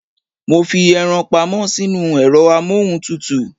Mo fi eran pamọ́ sínú ẹ̀rọ amóhuntutù